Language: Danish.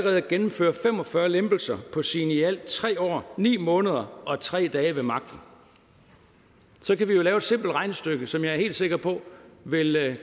at gennemføre fem og fyrre lempelser på sine i alt tre år ni måneder og tre dage ved magten så kan vi jo lave et simpelt regnestykke som jeg er helt sikker på vil